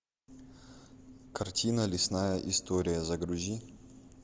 картина лесная история загрузи